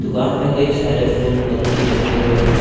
दुकान में कई सारे फूल पत्ती रखे हुए हैं।